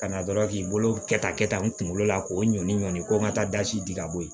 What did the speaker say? Ka na dɔrɔn k'i bolo kɛ tan kɛ tan n kunkolo la k'o ɲɔni ɲɔni ko n ka taa da si di ka bɔ yen